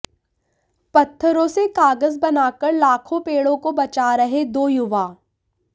पत्थरों से कागज बनाकर लाखों पेड़ों को बचा रहे दो युवा